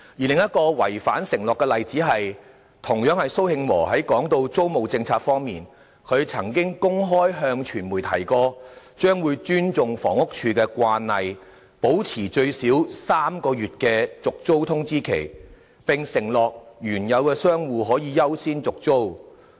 另一個違反承諾的例子是，同樣有關蘇慶和談及租務政策時的說法，他曾經公開向傳媒提及，將會尊重房屋署的慣例，保持最少3個月續租通知期，並承諾原有的商戶可以優先續租。